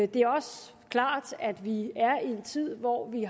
det er også klart at vi er i en tid hvor vi